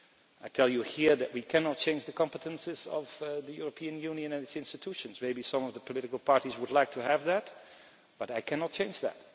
I tell you here that we cannot change the competences of the European Union and its institutions maybe some of the political parties would like to have that, but I cannot change that.